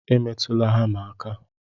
Emetụla hama aka!